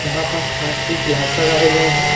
यहां पास कांच की गिलास लगाए गए हैं।